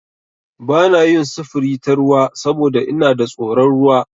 Ba na yin sufuri ta ruwa saboda ina da tsoron ruwa.